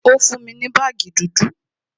Ó fún mi ní baagi dúdú